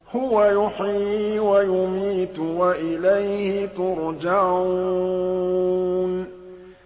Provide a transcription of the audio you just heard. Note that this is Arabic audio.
هُوَ يُحْيِي وَيُمِيتُ وَإِلَيْهِ تُرْجَعُونَ